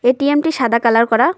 ATM -টি সাদা colour করা।